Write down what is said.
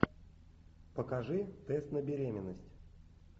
покажи тест на беременность